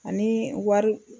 Ani wari